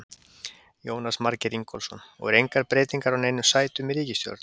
Jónas Margeir Ingólfsson: Og er engar breytingar á neinum sætum í ríkisstjórn?